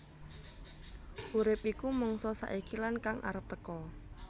Urip iku mangsa saiki lan kang arep teka